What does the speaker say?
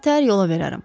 Birtəhər yola verərəm.